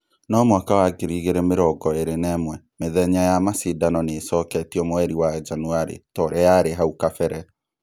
No mwaka wa ngiri igĩrĩ mĩrongo ĩrĩ na ĩmwe mũthenya wa macindano nĩĩcoketio mweri wa Janũarĩ torĩa yarĩ hau kabere